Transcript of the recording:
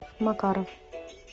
макаров